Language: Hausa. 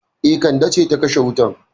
E, Kande ce ta kashe wutan.